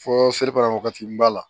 Fɔ kɔnɔwagati b'a la